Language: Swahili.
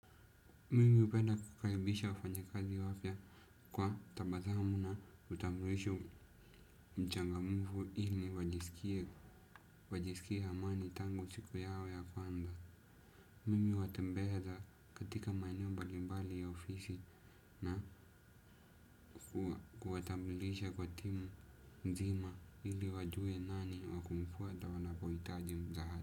Mimi hupenda kukaribisha wafanyi kazi wapya kwa tabasamu na utambulisho mchangamufu ili wajiskia amani tangu siku yao ya kwanza. Mimi huwatembeza katika maeneo mbalimbali ya ofisi na kuwatambulisha kwa timu nzima ili wajue nani wakumfuata wanapohitaji msaada.